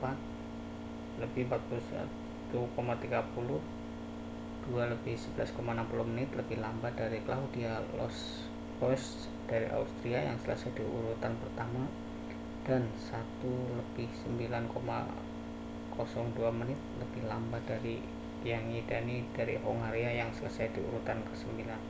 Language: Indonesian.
4:41.30 2:11.60 menit lebih lambat dari claudia loesch dari austria yang selesai di urutan pertama dan 1:09.02 menit lebih lambat dari gyã¶ngyi dani dari hongaria yang selesai di urutan kesembilan